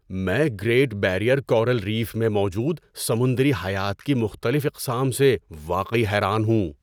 میں great barrier coral reef میں موجود سمندری حیات کی مختلف اقسام سے واقعی حیران ہوں۔